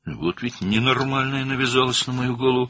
Bax bu dəli başımın bəlası oldu.